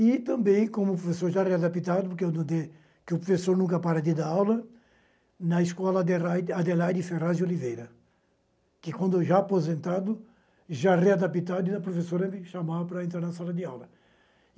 E também como professor já readaptado, porque eu não dei, porque o professor nunca para de dar aula, na escola adelai Adelaide Ferraz de Oliveira, que quando eu já aposentado, já readaptado, a professora me chamava para entrar na sala de aula.